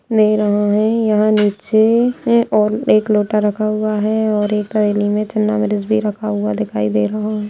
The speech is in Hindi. --ले रहा है यहाँ नीचे और एक लोटा रखा हुआ है और एक थाली में रखा हुआ दिखाई दे रहा हैं।